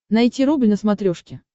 найти рубль на смотрешке